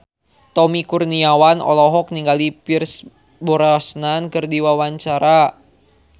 Tommy Kurniawan olohok ningali Pierce Brosnan keur diwawancara